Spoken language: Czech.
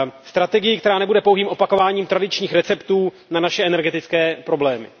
Strategii, která nebude pouhým opakováním tradičních receptů na naše energetické problémy.